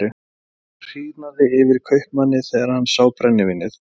Það hýrnaði yfir kaupmanni þegar hann sá brennivínið.